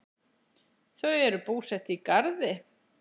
Þau eru búsett í Garði.